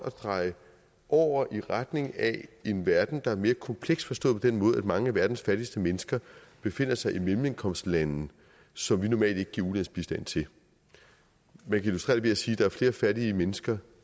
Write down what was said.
at dreje over i retning af en verden der er mere kompleks forstået på den måde at mange af verdens fattigste mennesker befinder sig i mellemindkomstlande som vi normalt ikke giver ulandsbistand til man kan illustrere det ved at sige der er flere fattige mennesker